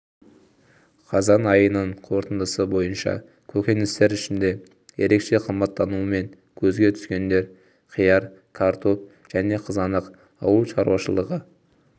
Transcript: қазан айының қорытындысы бойынша көкөністер ішінде ерекше қымбаттауымен көзге түскендер қияр картоп және қызанақ ауыл шаруашылығы